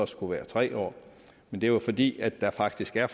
skulle være tre år men det er fordi der faktisk er